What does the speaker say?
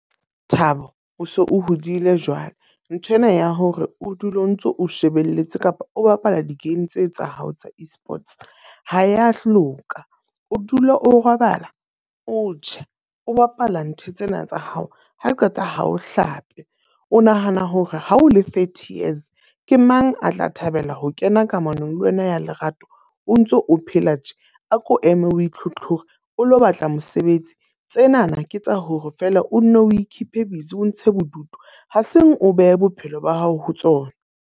Thabo o se o hodile jwale. Nthwena ya hore o dule o ntso o shebelletse kapa o bapala di-game tse tsa hao tsa e-sports ho ya hloka. O dula o robala, o ja, o bapala ntho tsena tsa hao, ha qeta ha o hlape. O nahana hore ha o le thirty years, ke mang a tla thabela ho kena kamanong le wena ya lerato, o ntso o phela tje? A ko eme a itlhotlhore, o lo batla mosebetsi. Tsenana ke tsa hore feela o nne o e keep-e busy, o ntshe bodutu ha seng o behe bophelo ba hao ho tsona.